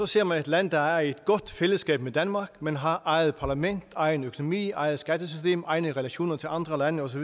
ser man et land der er i et godt fællesskab med danmark men har eget parlament egen økonomi eget skattesystem egne relationer til andre lande osv